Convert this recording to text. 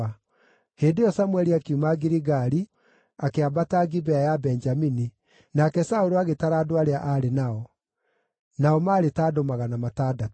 Hĩndĩ ĩyo Samũeli akiuma Giligali akĩambata Gibea ya Benjamini, nake Saũlũ agĩtara andũ arĩa aarĩ nao. Nao maarĩ ta andũ magana matandatũ.